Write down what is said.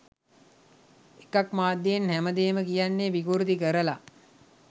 එකක්‌ මාධ්‍යයෙන් හැම දේම කියන්නෙ විකෘති කරලා